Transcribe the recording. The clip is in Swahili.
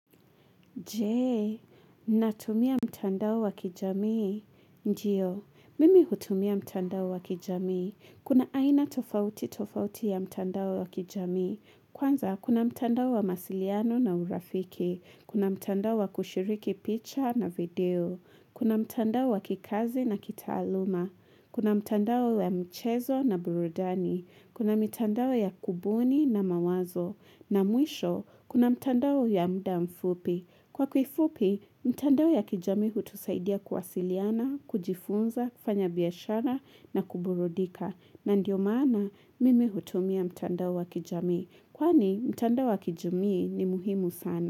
Je, natumia mtandao wakijamii. Ndio, mimi hutumia mtandao wakijamii. Kuna aina tofauti tofauti ya mtandao wakijami. Kwanza, kuna mtandao wa mawasiliano na urafiki. Kuna mtandao wa kushiriki picture na video. Kuna mtandao wa kikazi na kitaaluma. Kuna mtandao wa mchezo na burudani. Kuna mtandao ya kubuni na mawazo. Na mwisho, kuna mtandao ya muda mfupi. Kwa kifupi, mtandao ya kijamii hutusaidia kuwasiliana, kujifunza, kufanya biashara na kuburudika. Na ndio maana mimi hutumia mtandao wa kijamii. Kwani, mtandao wa kijamii ni muhimu sana.